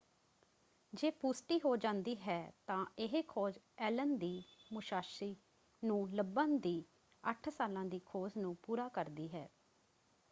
ਜੇ ਪੁਸ਼ਟੀ ਹੋ ਜਾਂਦੀ ਹੈ ਤਾਂ ਇਹ ਖੋਜ ਐਲਨ ਦੀ ਮੁਸਾਸ਼ੀ ਨੂੰ ਲੱਭਣ ਦੀ 8 ਸਾਲਾਂ ਦੀ ਖੋਜ ਨੂੰ ਪੂਰਾ ਕਰਦੀ ਹੈ।